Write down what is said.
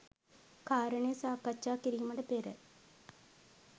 කාරණය සාකච්ඡා කිරීමට පෙර